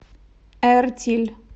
эртиль